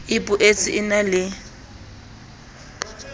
e boetsa e na le